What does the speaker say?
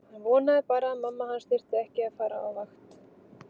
Hann vonaði bara að mamma hans þyrfti ekki að fara á vakt.